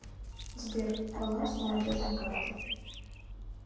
сбер баланс молодежной карты